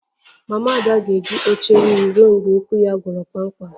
Mama Ada ga-eji oche wiil ruo mgbe ụkwụ ya gwọrọ kpamkpam